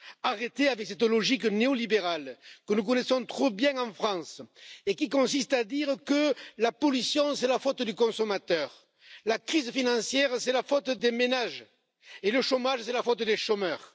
Arrêtez avec cette logique néo libérale, que nous connaissons trop bien en France et qui consiste à dire que la pollution, c'est la faute du consommateur, la crise financière, c'est la faute des ménages et le chômage, c'est la faute des chômeurs.